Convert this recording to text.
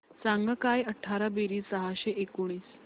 सांग काय अठरा बेरीज सहाशे एकोणीस